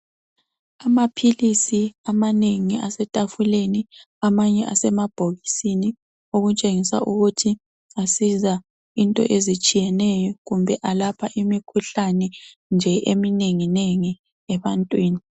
Amaphilisi amanengi asetafuleni amanye asemabhokisini okutshengisa ukuthi asiza into ezitshiyeneyo kumbe alapha imikhuhlane nje eminengi nengi ebantwini.